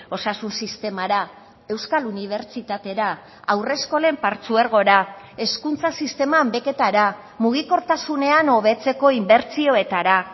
osasun sistemara euskal unibertsitatera haurreskolen partzuergora hezkuntza sisteman beketara mugikortasunean hobetzeko inbertsioetara